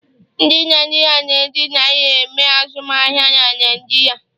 Ndi Naijiria na-eji naira eme azụmahịa na Naịjirịa